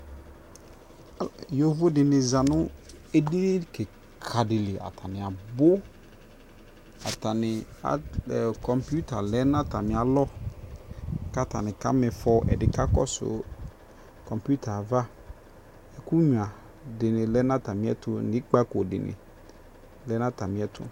Ɔ, ɛ, yovo de ne za no edini kika de liAtane abuAtane, a ɛɔ, kɔmpiuta lɛ na atane alɔ ka tane ka mifɔƐde ne ka kɔso kɔmpiutɛ avaƐku nyua de ne lɛ na atane ɛto ne ikpako de ne lɛ na atene ɛto